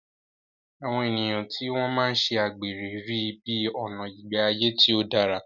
Àwọn ènìyàn tí wọ́n máa ń ṣe àgbèrè rí i bí ọ̀nà ìgbé ayé tí ó dára.